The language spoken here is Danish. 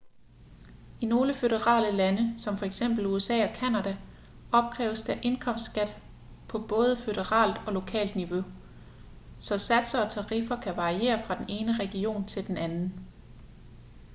i nogle føderale lande som for eksempel usa og canada opkræves der indkomstskat på både føderalt og lokalt niveau så satser og tariffer kan variere fra den ene region til den anden